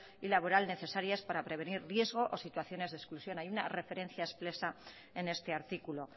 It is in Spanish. y laboral necesarios para prevenir riesgos o situaciones de exclusión hay una referencia expresa en este artículo